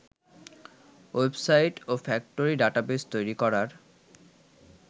website ও factory database তৈরি করার